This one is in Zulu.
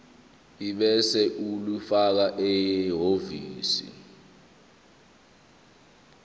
ebese ulifakela ehhovisi